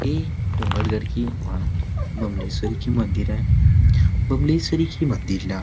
ये डोंगरगढ़ की माँ बमलेश्वरी की मंदिर हे बमलेश्वरी के मंदिर ला--